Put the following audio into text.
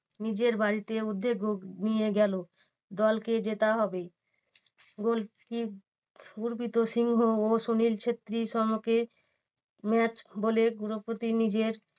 নিজের বাড়িতে উদ্যোগ নিয়ে গেলো দলকে জেতা হবে goalkeeper গুড়পিট সিংহ ও সুনীল ছেত্রী সম্মুখে match বলে গুড়পিট নিজের